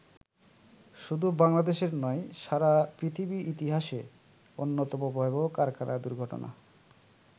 শুধু বাংলাদেশের নয়, সারা পৃথিবীর ইতিহাসে অন্যতম ভয়াবহ কারখানা দুর্ঘটনা।